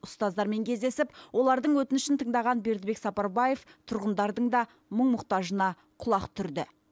ұстаздармен кездесіп олардың өтінішін тыңдаған бердібек сапарбаев тұрғындардың да мұң мұқтажына құлақ түрді